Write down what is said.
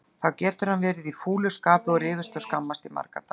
Þá getur hann verið í fúlu skapi og rifist og skammast í marga daga.